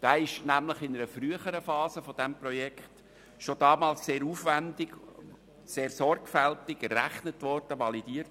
Der Flächenbedarf wurde nämlich bereits in einer früheren Phase des Projekts sehr aufwändig und sorgfältig errechnet und validiert.